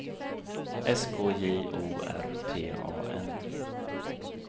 S K J O R T A N